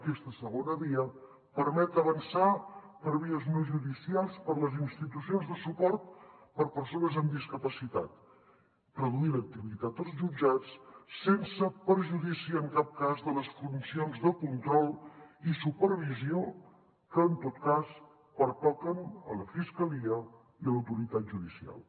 aquesta segona via permet avançar per vies no judicials per les institucions de suport per a persones amb discapacitat reduir l’activitat als jutjats sense perjudici en cap cas de les funcions de control i supervisió que en tot cas pertoquen a la fiscalia i a l’autoritat judicial